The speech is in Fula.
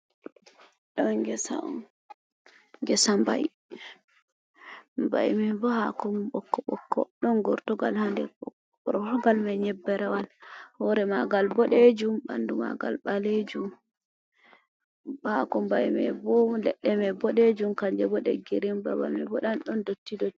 Ɗo gesa on, gesa bai, bai mai bo hako mom boko bokko, ɗon gortugal ha nder gortogal mai nyebbe rewal, hore magal boɗejum, ɓandu magal balejum, hako bai mai bo leɗɗe mai boɗejum, kanje bo ɗe girin, babal mai bo ɗan ɗon dotti dot.